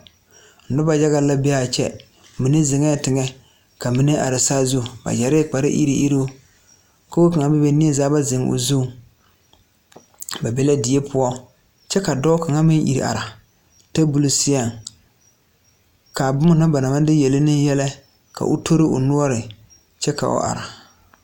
Noba yaga la be a kyɛ mine zeŋɛɛ teŋɛ ka mine are saazu ba yɛre kparre iri iruu kogo kaŋa bebe neUSAA ba zeŋ o zuŋ ba be la die poɔ kyɛ ka dɔɔ kaŋa meŋ iri are tabole seɛŋ ka boma na ba naŋ maŋ de yɛlɛ ne yɛlɛ ka o tori o noɔre kyɛ ka o are.